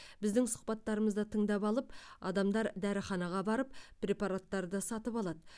біздің сұхбаттарымызды тыңдап алып адамдар дәріханаға барып препараттарды сатып алады